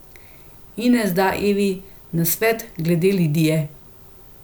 Ines da Evi nasvet glede Lidije.